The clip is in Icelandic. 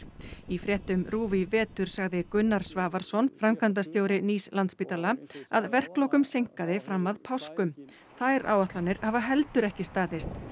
í fréttum RÚV í vetur sagði Gunnar Svavarsson framkvæmdastjóri nýs Landspítala að verklokum seinkaði fram að páskum þær áætlanir hafa heldur ekki staðist